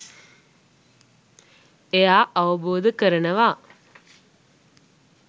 එයා අවබෝධ කරනවා